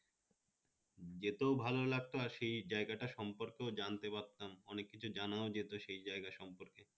যেতেও ভালো লাগতো আর সেই জায়গাটা সম্পর্কে ও জানতে পারতাম, অনেক কিছু জানা যেত সেই জায়গা সম্পর্কে